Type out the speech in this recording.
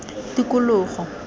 tikologo